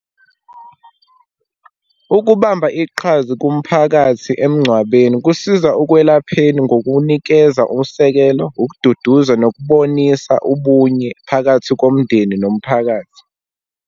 Ukubamba iqhaza kumphakathi emngcwabeni, kusiza ukwelapheni ngokunikeza usekelo, ukududuza nokubonisa ubunye phakathi komndeni nomphakathi.